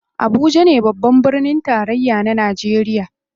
Abuja ne babban birnin tarayya na najeriya.